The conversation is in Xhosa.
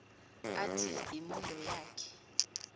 athi imundo yakhe